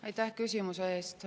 Aitäh küsimuse eest!